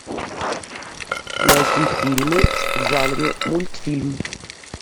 найти фильмы в жанре мультфильм